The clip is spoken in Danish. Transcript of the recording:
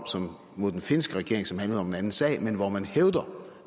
mod den finske regering som handlede om en anden sag men hvor man hævder